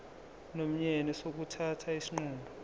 nomyeni sokuthatha isinqumo